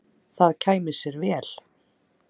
Það kæmi sér vel.